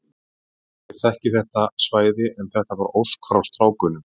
Ég þekki þetta svæði en þetta var ósk frá strákunum.